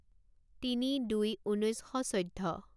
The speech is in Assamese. তিনি দুই ঊনৈছ শ চৈধ্য